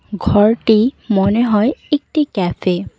ঘরটি মনে হয় একটি ক্যাফে ।